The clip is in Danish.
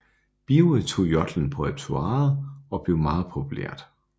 Birge tog jodlen på repertoiret og det blev meget populært